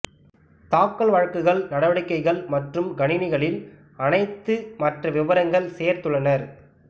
தாக்கல் வழக்குகள் நடவடிக்கைகள் மற்றும் கணினிகளில் அனைத்து மற்ற விவரங்கள் சேர்த்துள்ளனர்